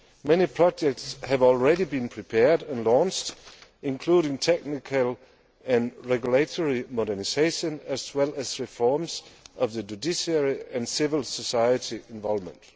Many projects have already been prepared and launched, including technical and regulatory modernisation as well as reforms of the judiciary and civil society involvement.